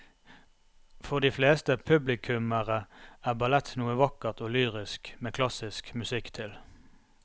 For de fleste publikummere er ballett noe vakkert og lyrisk med klassisk musikk til.